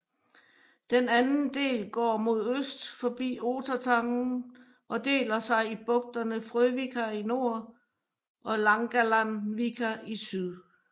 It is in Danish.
Den anden del går mod øst forbi Otertangen og deler sig i bugtene Frøvika i nord og Langalandsvika i syd